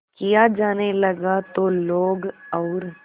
किया जाने लगा तो लोग और